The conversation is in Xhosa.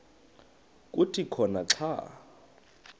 kuthi khona xa